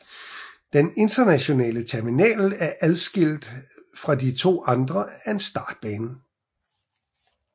Den internationale terminal er adskilt fra de to andre af en startbane